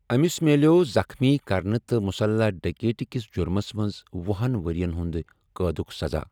أمِس مِلٮ۪وٚو زخمی کرنہٕ تہ مسلح ڈکیتی کِس جُرمِس منٛز وُہَن ؤرۍ یَن قٲدُک سزا۔